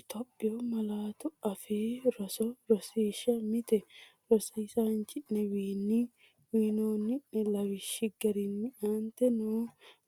Itophiyu Malaatu Afii Roso Rosiishsha Mite Rosiisaanchi’newiinni uyinanni’ne lawishshi garinni aante noo